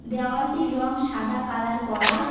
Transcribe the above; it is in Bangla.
দেওয়ালটির রং সাদা কালার করা।